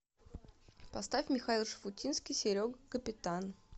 поставь михаил шуфутинский серега капитан